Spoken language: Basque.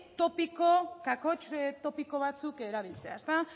topiko kakotx topiko batzuk erabiltzea